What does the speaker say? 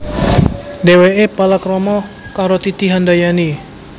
Dhèwèké palakrama karo Titi Handayani